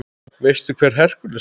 Veistu hver Hercules er?